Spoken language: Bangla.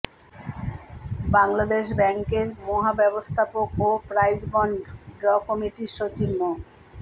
বাংলাদেশ ব্যাংকের মহাব্যবস্থাপক ও প্রাইজবন্ড ড্র কমিটির সচিব মো